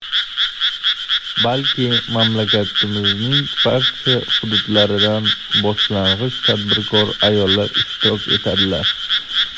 balki mamlakatimizning barcha hududlaridan boshlang‘ich tadbirkor ayollar ishtirok etadilar.